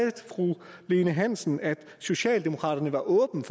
fru lene hansen at socialdemokraterne var åbne